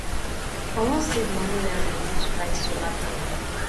i wan save moni wey i go use buy solar panel